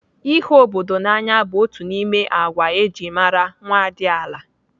Ịhụ obodo n'anya bụ otu n'ime agwa eji mara nwadiala.